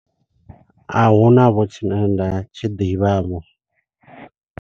A huna vho, tshine nda tshi ḓivha vho.